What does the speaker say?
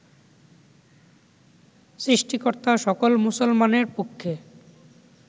সৃষ্টিকর্তা সকল মুসলমানের পক্ষে